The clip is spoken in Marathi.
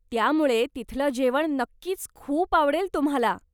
त्यामुळे तिथलं जेवण नक्कीच खूप आवडेल तुम्हाला.